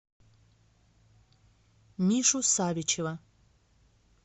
мишу савичева